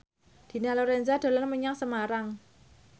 Dina Lorenza dolan menyang Semarang